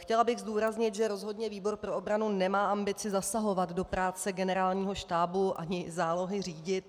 Chtěla bych zdůraznit, že rozhodně výbor pro obranu nemá ambici zasahovat do práce Generálního štábu ani zálohy řídit.